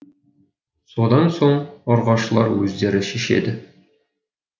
содан соң ұрғашылар өздері шешеді